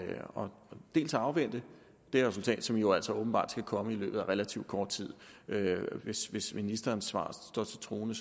afvente det resultat som jo altså åbenbart skal komme i løbet af relativt kort tid hvis hvis ministerens svar står til troende